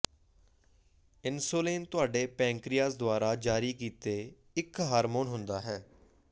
insulin ਤੁਹਾਡੇ pancreas ਦੁਆਰਾ ਜਾਰੀ ਕੀਤੇ ਇੱਕ ਹਾਰਮੋਨ ਹੁੰਦਾ ਹੈ